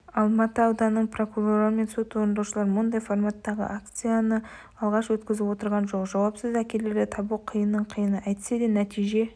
алматы ауданының прокурорлары мен сот орындаушылар мұндай форматтағы акцияны алғаш өткізіп отырған жоқ жауапсыз әкелерді табу қиынның қиыны әйтсе де нәтиже